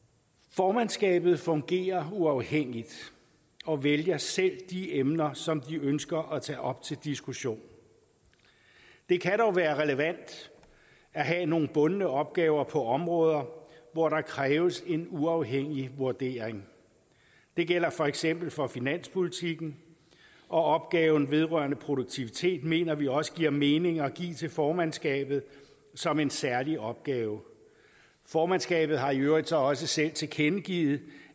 formandskabet fungerer uafhængigt og vælger selv de emner som de ønsker at tage op til diskussion det kan dog være relevant at have nogle bundne opgaver på områder hvor der kræves en uafhængig vurdering det gælder for eksempel for finanspolitikken og opgaven vedrørende produktivitet mener vi også giver mening at give til formandskabet som en særlig opgave formandskabet har i øvrigt så også selv tilkendegivet